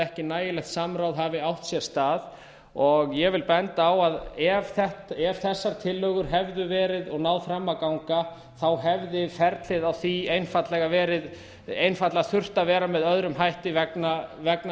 ekki nægilegt samráð hafi átt sér stað og ég vil benda á að ef þessar tillögur hefðu verið og náð fram að ganga hefði ferlið á því einfaldlega þurft að vera með öðrum hætti vegna